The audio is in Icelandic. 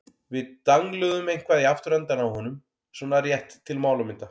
Við dangluðum eitthvað í afturendann á honum- svona rétt til málamynda.